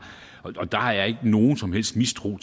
og der er ikke nogen som helst mistro